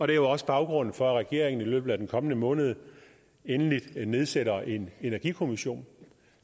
det er også baggrunden for at regeringen i løbet af den kommende måned endelig nedsætter en energikommission